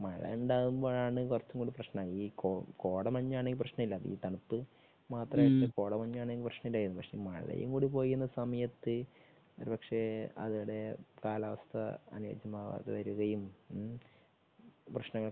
മഴ ഉണ്ടാകുമ്പോഴാണ് കുറച്ചും കൂടെ പ്രശ്നം. ഈ കോടമഞ്ഞാണെങ്കിൽ പ്രശ്നമില്ല. ഈ തണുപ്പ് പക്ഷേ മഴയും കൂടി പെയ്യുന്ന സമയത്ത് ഒരുപക്ഷേ അവിടെ കാലാവസ്ഥ അനുകൂലമാകാതെ വരികയും പ്രശ്നങ്ങൾ